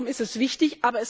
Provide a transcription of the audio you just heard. Darum ist es wichtig.